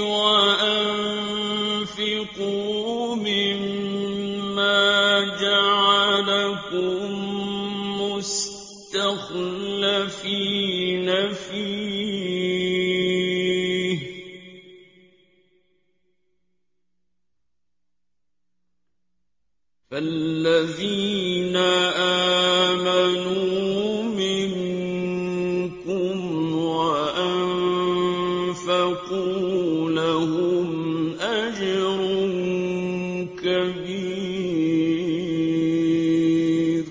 وَأَنفِقُوا مِمَّا جَعَلَكُم مُّسْتَخْلَفِينَ فِيهِ ۖ فَالَّذِينَ آمَنُوا مِنكُمْ وَأَنفَقُوا لَهُمْ أَجْرٌ كَبِيرٌ